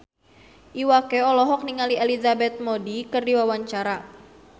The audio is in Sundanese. Iwa K olohok ningali Elizabeth Moody keur diwawancara